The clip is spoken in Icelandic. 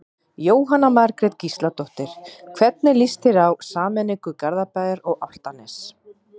Jóhanna Margrét Gísladóttir: Hvernig lýst þér á sameiningu Garðabæjar og Álftanes?